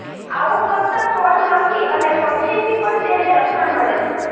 આવું કરતા ફળમાખી અને પક્ષીથી પણ તેને રક્ષણ મળે છે